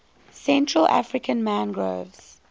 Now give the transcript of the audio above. central african mangroves